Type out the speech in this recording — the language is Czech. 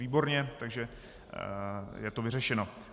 Výborně, takže je to vyřešeno.